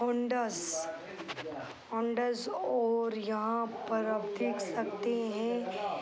Hondas Hondas और यहाँ पर आप देख सकते हैं।